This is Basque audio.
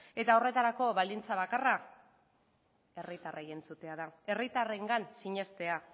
horretarako baldintza bakarra herritarrei entzutea da herritarrengan sinestea